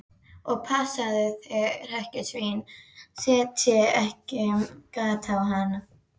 Og passaðu þig að hrekkjusvínin setji ekki gat á hana.